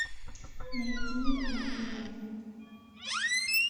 найди ин май лайф